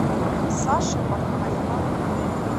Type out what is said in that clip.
саши бакаева